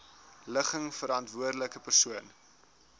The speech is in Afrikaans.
ligging verantwoordelike persoon